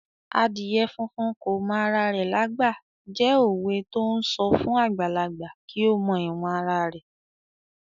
"Adìyẹ funfun kò mọ ara rẹ lágbà" jẹ́ òwe to ń sọ fún àgbàlagbà kí ó mọ ìwọ̀n ara rẹ̀.